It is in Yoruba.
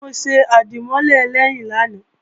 Mo ṣe àdìmọ́lè ẹlẹ́yìn lánàá